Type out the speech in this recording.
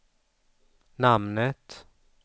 namnet